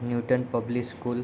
Newton public school --